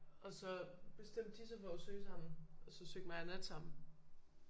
Og så bestemte de sig for at søge sammen og så søgte mig og nat sammen